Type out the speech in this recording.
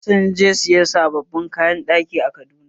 Sun je sayan sabbin kayan ɗaki a Kaduna